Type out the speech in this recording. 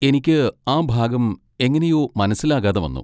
എനിക്ക് ആ ഭാഗം എങ്ങനെയോ മനസ്സിലാകാതെ വന്നു..